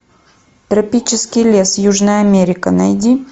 тропический лес южная америка найди